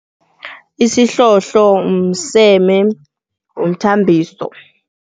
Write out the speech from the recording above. Isihlohlo mseme womthambiso.